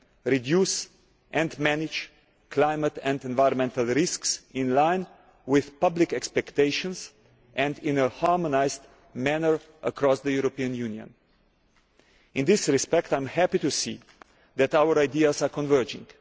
reduce and manage climate and environmental risks in line with public expectations and in a harmonised manner across the European Union. In this respect I am happy to see that our ideas are converging.